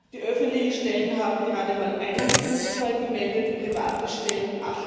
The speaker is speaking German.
Die öffentlichen Stellen haben gerade mal einen Betrugsfall gemeldet, private Stellen